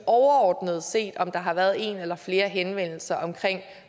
overordnet set sige om der har været en eller flere henvendelser omkring